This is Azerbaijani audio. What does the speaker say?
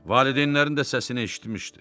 Valideynlərin də səsini eşitmişdi.